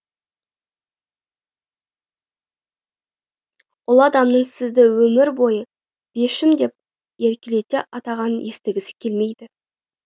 ұлы адамның сізді өмір бойы бешім деп еркелете атағанын естігісі келмейді